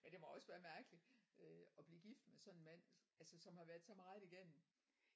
Men det må også være mærkeligt at blive gift med sådan en mand altså som har været så meget igennem